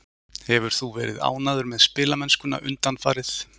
Hefur þú verið ánægður með spilamennskuna undanfarið?